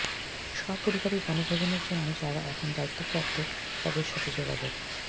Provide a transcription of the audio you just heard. সপরিবারে বনভোজনের জন্য যারা এখন দায়িত্বপ্রাপ্ত তাঁদের সাথে যোগাযোগ